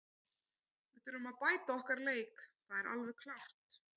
Við þurfum að bæta okkar leik, það er alveg klárt.